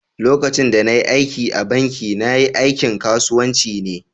lokacin da na yi aiki a'banki, na. yi aikin kasuwanci ne.